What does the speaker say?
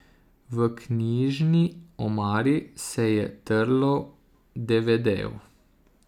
V knjižni omari se je trlo devedejev.